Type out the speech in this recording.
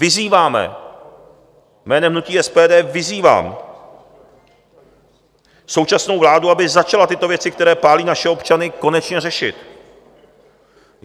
Vyzýváme, jménem hnutí SPD vyzývám současnou vládu, aby začala tyto věci, které pálí naše občany, konečně řešit.